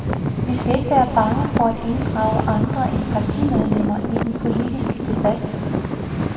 Vi skal ikke være bange for at inddrage andre end partimedlemmer i den politiske debat.